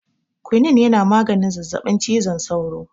Kwanin yana maganin zazabin cizon saura